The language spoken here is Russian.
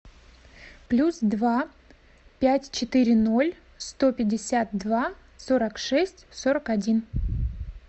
плюс два пять четыре ноль сто пятьдесят два сорок шесть сорок один